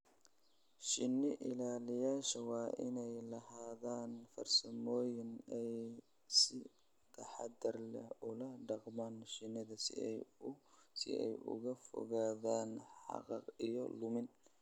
Shinni-ilaaliyeyaashu waa inay lahaadaan farsamooyin ay si taxadar leh ula dhaqmaan shinnida si ay uga fogaadaan xanaaq iyo lumin.